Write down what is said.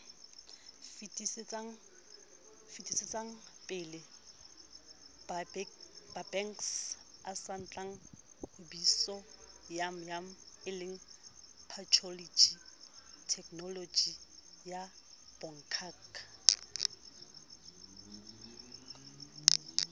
o o fetisetsapelebakengsatsatlhahlobisoyammele patholoji thekenolojiyabongaka